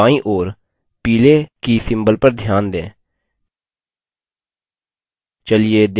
bookid field की बायीं ओर पीले की symbol पर ध्यान दें